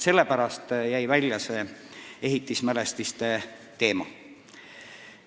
Sellepärast jäid need ehitismälestised välja.